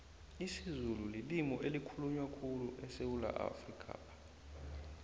isizulu lilimi elikhulunywa khulyu esewula afrikapha